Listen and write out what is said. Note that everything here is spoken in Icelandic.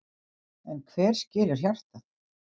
En hver skilur hjartað?